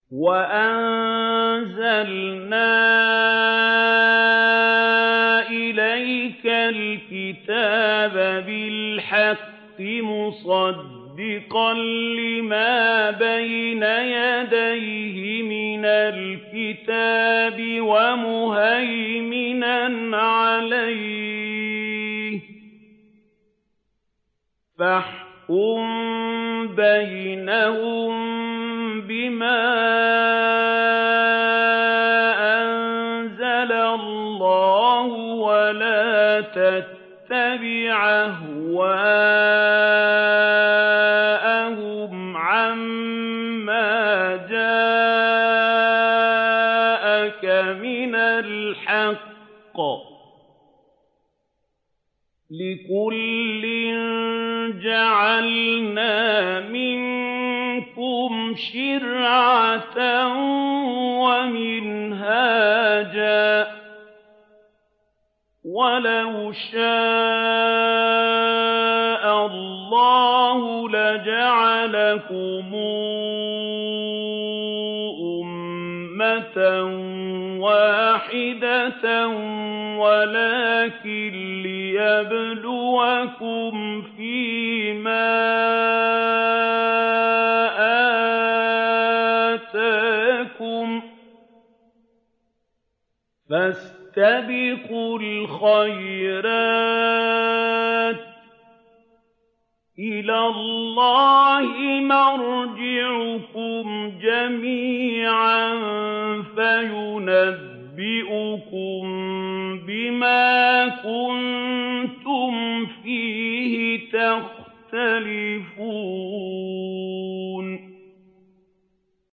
وَأَنزَلْنَا إِلَيْكَ الْكِتَابَ بِالْحَقِّ مُصَدِّقًا لِّمَا بَيْنَ يَدَيْهِ مِنَ الْكِتَابِ وَمُهَيْمِنًا عَلَيْهِ ۖ فَاحْكُم بَيْنَهُم بِمَا أَنزَلَ اللَّهُ ۖ وَلَا تَتَّبِعْ أَهْوَاءَهُمْ عَمَّا جَاءَكَ مِنَ الْحَقِّ ۚ لِكُلٍّ جَعَلْنَا مِنكُمْ شِرْعَةً وَمِنْهَاجًا ۚ وَلَوْ شَاءَ اللَّهُ لَجَعَلَكُمْ أُمَّةً وَاحِدَةً وَلَٰكِن لِّيَبْلُوَكُمْ فِي مَا آتَاكُمْ ۖ فَاسْتَبِقُوا الْخَيْرَاتِ ۚ إِلَى اللَّهِ مَرْجِعُكُمْ جَمِيعًا فَيُنَبِّئُكُم بِمَا كُنتُمْ فِيهِ تَخْتَلِفُونَ